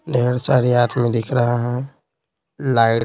ढेर सारे हाथमी दिख रहा है लाइट --